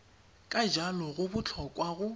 ka jalo go botlhokwa go